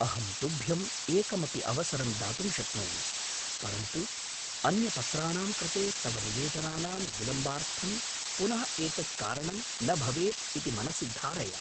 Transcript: अहं तुभ्यम् एकमपि अवसरं दातुं शक्नोमि, परन्तु अन्यपत्राणां कृते तव निवेदनानां विलम्बार्थं पुनः एतत् कारणं न भवेत् इति मनसि धारय।